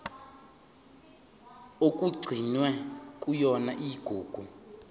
okugcinwe kuyona igugu